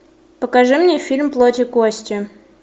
покажи мне фильм плоть и кости